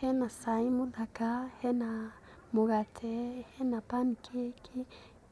Hena cai mũthaka, hena mũgate, hena pancake,